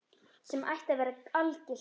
Sem ætti að vera algilt.